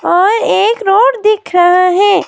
और एक रोड दिख रहा है।